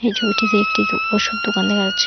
ছবিটিতে একটি তো ওষুধ দোকান দেখা যাচ্ছে।